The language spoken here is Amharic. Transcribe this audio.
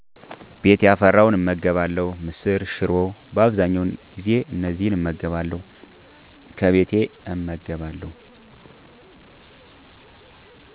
ቤት ያፈራውን እመገባለሁ። ምስር፣ ሽሮ በአብዛኛው ጊዜ እነዚን እመገባለሁ። ከቤቴ እመገባለሁ።